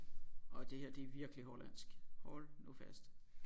Og det her det er virkelig hollandsk hold nu fast